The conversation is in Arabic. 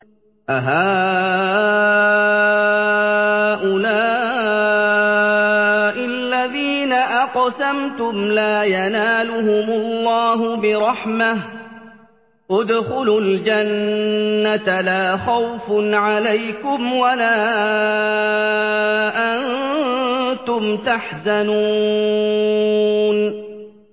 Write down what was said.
أَهَٰؤُلَاءِ الَّذِينَ أَقْسَمْتُمْ لَا يَنَالُهُمُ اللَّهُ بِرَحْمَةٍ ۚ ادْخُلُوا الْجَنَّةَ لَا خَوْفٌ عَلَيْكُمْ وَلَا أَنتُمْ تَحْزَنُونَ